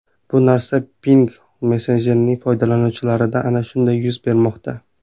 Bu narsa Pinngle messenjerining foydalanuvchilarida ana shunday yuz bermoqda.